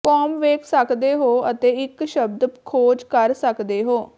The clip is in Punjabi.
ਕੌਮ ਵੇਖ ਸਕਦੇ ਹੋ ਅਤੇ ਇਕ ਸ਼ਬਦ ਖੋਜ ਕਰ ਸਕਦੇ ਹੋ